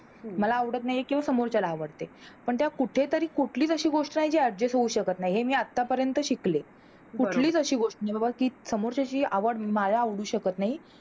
मला आवडते हे किंवा समोरच्याला आवडत नाही आहे पण त्या कुठे तरी कोणती तरी गोष्ट आहे कि Adjust होऊ शकत नाही हे मी आता पर्यंत शिकले, कुठलीच अशी गोष्ट सामोच्याही आवड मला आवडू शकत नाही, मला आवडत नाही किव्हा समोरच्याला आवडते